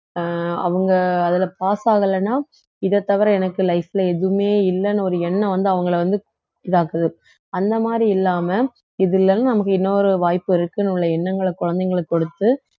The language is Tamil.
அஹ் அவங்க அதுல pass ஆகலன்னா இதைத் தவிர எனக்கு life ல எதுவுமே இல்லைன்னு ஒரு எண்ணம் வந்து அவங்களை வந்து இதாக்குது அந்த மாதிரி இல்லாம இது இல்லைனா நமக்கு இன்னொரு வாய்ப்பு இருக்குன்னு உள்ள எண்ணங்களை குழந்தைங்களுக்கு கொடுத்து